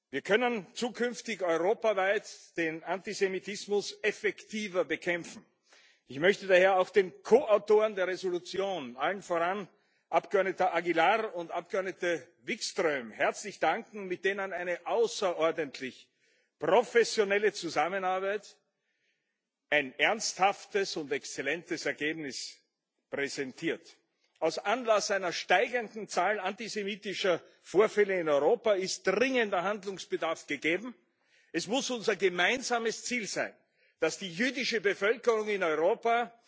Wir können zukünftig europaweit den Antisemitismus effektiver bekämpfen. Ich möchte daher auch den Ko Autoren der Entschließung allen voran dem Abgeordnetem Aguilar und der Abgeordneten Wikström herzlich danken, mit denen eine außerordentlich professionelle Zusammenarbeit ein ernsthaftes und exzellentes Ergebnis präsentiert. Aus Anlass einer steigenden Zahl antisemitischer Vorfälle in Europa ist dringender Handlungsbedarf gegeben. Es muss unser gemeinsames Ziel sein, dass die jüdische Bevölkerung in Europa